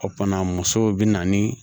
O fana muso bɛ na ni